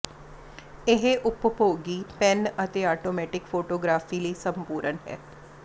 ਇਹ ਉਪਭੋਗੀ ਪੈਨ ਅਤੇ ਆਟੋਮੈਟਿਕ ਫੋਟੋਗਰਾਫੀ ਲਈ ਸੰਪੂਰਣ ਹੈ